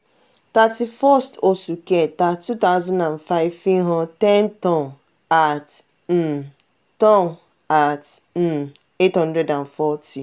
thirty first oṣù kẹta two thousand and five fihan ten tonne at um tonne at um eight hundred and forty